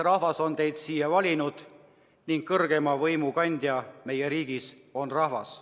Rahvas on teid siia valinud ning kõrgeima riigivõimu kandja meie riigis on rahvas.